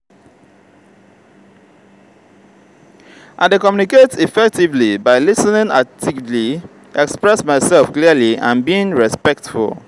i dey communicate effectively by lis ten ing actively express myself clearly and being respectful.